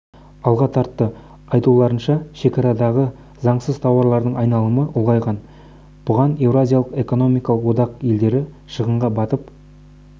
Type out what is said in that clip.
алға тартты айтуларынша шекарадағы заңсыз тауарлардың айналымы ұлғайған бұдан еуразиялық экономикалық одақ елдері шығынға батып